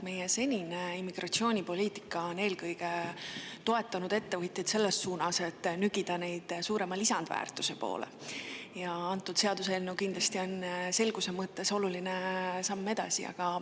Meie senine immigratsioonipoliitika on eelkõige toetanud ettevõtjaid selles suunas, et nügida neid suurema lisandväärtuse poole, ja antud seaduseelnõu kindlasti on selguse mõttes oluline samm edasi.